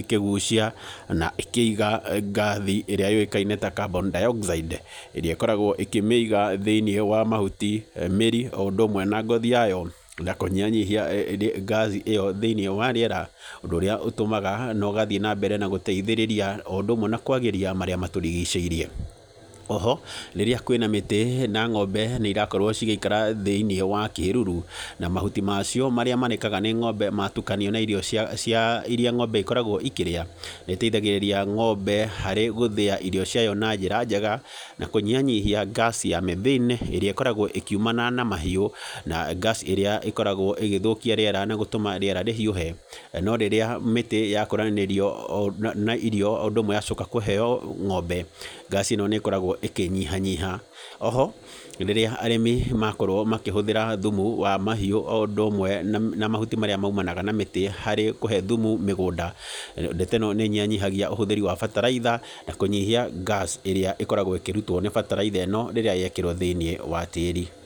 ĩkĩgucia na ĩkĩiga ngathi ĩrĩa yũĩkaine ta carbon dioxide ĩrĩa ĩkoragwo ĩkĩmĩiga thĩinĩ wa mahuti, mĩri o ũndũ ũmwe na ngothi yayo na kũnyihanyihia ngathi ĩyo thĩinĩ wa rĩera, ũndũ ũríĩ ũtumaga na ũgathiĩ na mbere na gũteithĩrĩria o ũndũ ũmwe na kwagĩrithia marĩa matũrigicĩirie. O ho, rĩrĩa kwĩ na mĩtĩ na ngombe irakorwo cigĩikara thĩinĩ wa kĩruru, na mahuti macio marĩa marĩkaga nĩ ngombe matukanio na irio cia, iria ngombe ikoragwo ikĩrĩa, nĩĩteithagĩrĩria ngombe harĩ gũthĩa irio ciayo na njĩra njega na kũnyihanyihia ngaci ya methane ĩrĩa ĩkoragwo ĩkiumana na mahiũ, na ngaci ĩrĩa ĩkoragwo ĩgĩthũkia rĩera nĩgũtũma rĩera rĩhiũhe. No rĩrĩa mĩtĩ yakũranĩrio na irio o ũndũ ũmwe yacoka kũheo ngombe, ngaci ĩno nĩ ĩkoragwo ĩkĩnyihanyiha. O ho, rĩrĩa arĩmi makorwo makĩhũthĩra thumu wa mahiũ o ũndũ ũmwe na mahuti marĩa maumanaga na mĩtĩ harĩ kũhe thumu mĩgũnda, ndeto ĩno nĩ ĩnyihanyihagia ũhũthĩri wa bataraitha na kũnyihia gas ĩrĩa ĩkoragwo ĩkĩrutwo nĩ bataraitha ĩno rĩrĩa yekĩrwo thĩinĩ wa tĩĩri.